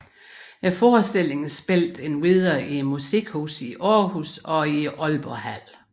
Forestillingen spillede endvidere i Musikhuset Aarhus og i Aalborghallen